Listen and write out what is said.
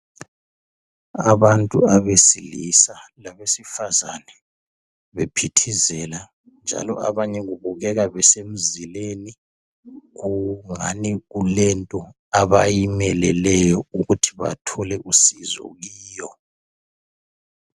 Abantu abesilisa labesifazana bephithizela njalo abanye kubebeka kusemzileni kungani kulento abayimeleleyo ukuthi bathole usizo kuyo.